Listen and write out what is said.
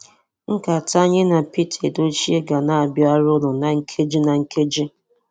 Nkata anyi na Pete Edochie ga na abịara unu na nkeji na nkeji.